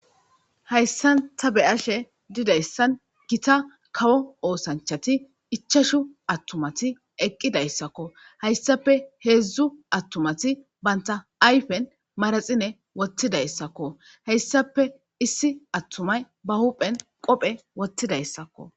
Hayssan ta bey ashe didayssan gita kawo oosanchati ichashu attumati eqqidayssakko hayssape heedzdzu attumati banta ayfen maraxine wottidayssakko hayssape issi attumay ba huphen qophe wottidayssakko